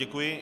Děkuji.